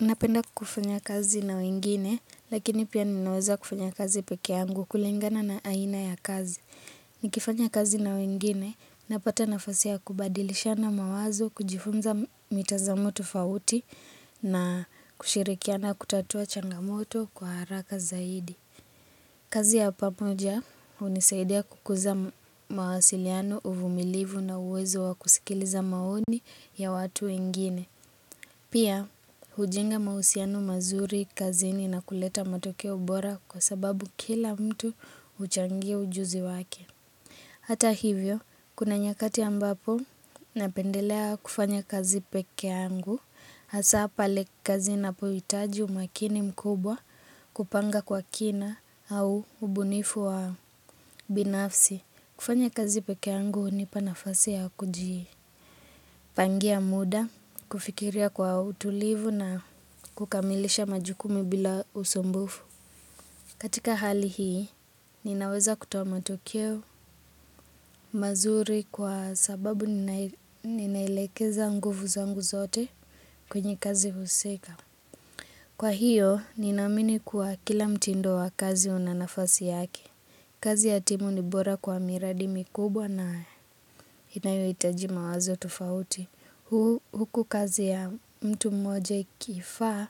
Napenda kufanya kazi na wengine lakini pia ninaweza kufanya kazi peke yangu kulingana na aina ya kazi. Nikifanya kazi na wengine napata nafasi ya kubadilishana mawazo kujifunza mitazamo tofauti na kushirikiana kutatua changamoto kwa haraka zaidi. Kazi ya pamoja unisaidia kukuza mawasiliano uvumilivu na uwezo wa kusikiliza maoni ya watu wengine. Pia, hujenga mausiano mazuri kazini na kuleta matokeo bora kwa sababu kila mtu uchangia ujuzi wake Hata hivyo, kuna nyakati ambapo napendelea kufanya kazi peke yangu. Hasa pale kazi na inapo hitaji umakini mkubwa kupanga kwa kina au ubunifu wa binafsi. Kufanya kazi pekee yangu unipa nafasi ya kujii. Pangia muda, kufikiria kwa utulivu na kukamilisha majukumu bila usumbufu. Katika hali hii, ninaweza kutoa matokeo mazuri kwa sababu ninailekeza nguvu zangu zote kwenye kazi huseka. Kwa hiyo, ninaamini kuwa kila mtindo wa kazi unanafasi yake. Kazi ya timu ni bora kwa miradi mikubwa na inayoitaji mawazo tofauti. Huku kazi ya mtu mmoja ikifaa